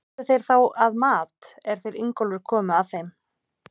Voru þeir þá að mat, er þeir Ingólfur komu að þeim.